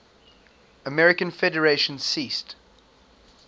american federation ceased